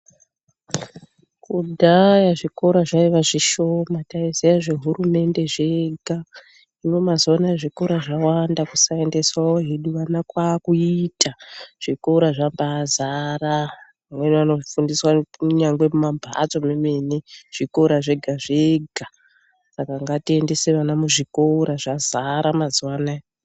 Kudhaya zvikora zvaiva zvishoma. Taiziya zvehurumende zvega. Hino mazuva anaya zvikoro zvawanda kusaendesawo hedu vana kwakuita. Zvikora zvambazara. Vamweni vanofundiswa kunyangwe kumamhatso kwemene, zvikora zvega zvega, saka ngatiendese vana muzvikora, zvazara mazuva anaya.